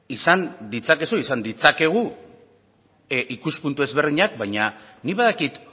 izan ditzakezu izan ditzakegu ikuspuntu desberdinak baina nik badakit